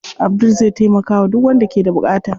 Abdul zai taimakawa duk wanda ke da buƙata.